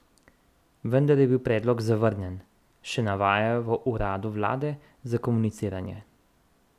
Vendar je bil predlog zavrnjen, še navajajo v uradu vlade za komuniciranje.